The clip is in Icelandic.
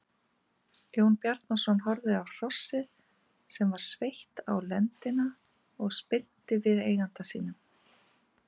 Jón Bjarnason horfði á hrossið sem var sveitt á lendina og spyrnti við eigendum sínum.